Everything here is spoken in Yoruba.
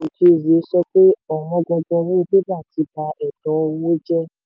boniface okezie sọ pé ọ̀wọ́n gógó owó bébà ti ba ètò owó jẹ́.